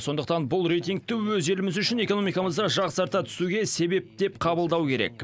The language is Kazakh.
сондықтан бұл рейтингті өз еліміз үшін экономикамызды жақсарта түсуге себеп деп қабылдау керек